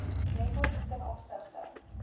rekords ten opsigte